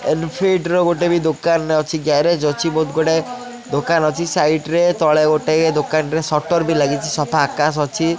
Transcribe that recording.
ଏଲଫିଡ୍ ର ଗୋଟେ ବି ଦୋକାନ ଅଛି ଗ୍ୟାରେଜ୍ ଅଛି ବହୁତ୍ ଗୁଡ଼ାଏ ଦୋକାନ ଅଛି ସାଇଡ୍ ରେ ତଳେ ଗୋଟେ ଦୋକାନରେ ସଟର୍ ବି ଲାଗିଛି ସଫା ଆକାଶ ଅଛି।